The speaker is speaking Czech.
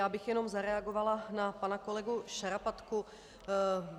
Já bych jenom zareagovala na pana kolegu Šarapatku.